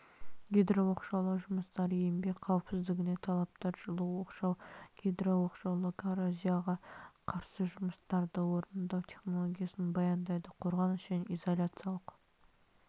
гидрооқшаулау жұмыстары еңбек қауіпсіздігіне талаптар жылу оқшау гидрооқшаулау коррозияға қарсы жұмыстарды орындау технологиясын баяндайды қорғаныс және изоляциялық